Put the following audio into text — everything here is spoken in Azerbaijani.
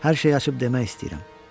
Hər şeyi açıb demək istəyirəm.